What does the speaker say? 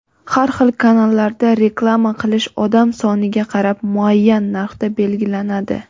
har xil kanallarda reklama qilish odam soniga qarab muayyan narxda belgilanadi.